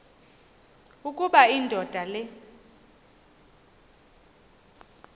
ukuba indoda le